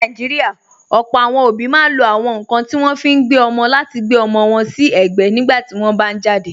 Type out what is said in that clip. Ní Nàìjíríà, ọ̀pọ̀ àwọn òbí máa ń lo àwọn nkan tí wọ́n fi ń gbé ọmọ láti gbe ọmọ wọn si egbe nígbà tí wọ́n bá jáde.